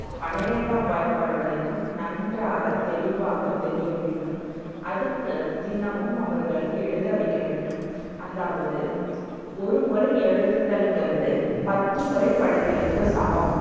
பனிரெண்டாம் வாய்ப்பாடு வரைக்கும் நன்றாக தெளிவாக தெரிய வேண்டும். அதுக்கு தினமும் அவர்களை எழுத வைக்க வேண்டும். அதாவது, ஒருமுறை எழுதுதல்ன்றது பத்து முறை படித்தலுக்கு சமம்.